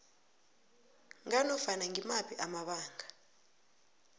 nganofana ngimaphi amabanga